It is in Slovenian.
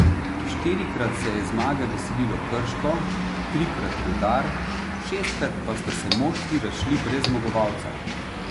Štirikrat se je zmage veselilo Krško, trikrat Rudar, šestkrat pa sta se moštvi razšli brez zmagovalca.